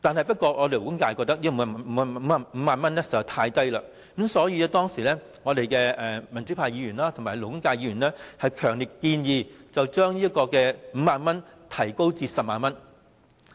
不過，勞工界認為5萬元實在太少，所以民主派及勞工界的議員強烈建議，將5萬元提高至10萬元。